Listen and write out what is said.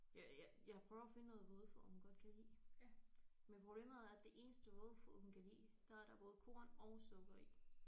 Jeg jeg jeg prøver at finde noget vådfoder hun godt kan lide men problemet er det eneste vådfoder hun kan lide der er der både korn og sukker i